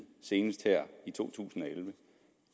senest her i to tusind